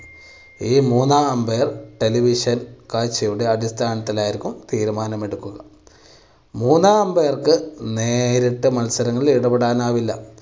ഈ മൂന്നാം umpiretelevision കാഴ്ചയുടെ അടിസ്ഥാനത്തിലായിരിക്കും തീരുമാനം എടുക്കുക. മൂന്നാം umpire ക്ക് നേരിട്ട് മത്സരങ്ങളിൽ ഇടപെടാൻ ആവില്ല.